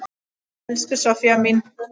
Elsku Soffía mín.